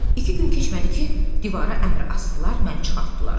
İki gün keçmədi ki, divara əmr asdılar, məni çıxartdılar.